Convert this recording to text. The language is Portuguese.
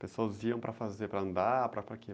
Pessoas iam para fazer, para andar, para, para quê?